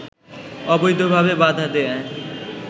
অবৈধভাবে বাধা দেয়ায়